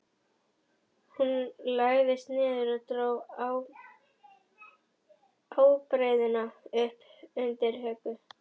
Hún lagðist niður og dró ábreiðuna upp undir höku.